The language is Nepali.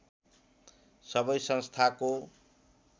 सबै संस्थाको